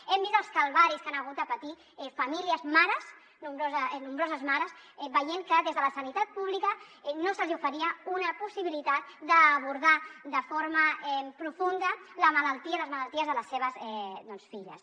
hem vist els calvaris que han hagut de patir famílies mares nombroses mares veient que des de la sanitat pública no se’ls hi oferia una possibilitat d’abordar de forma profunda les malalties de les seves filles